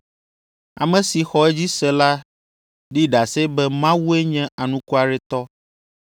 Ame si xɔ edzi se la ɖi ɖase be Mawue nye anukwaretɔ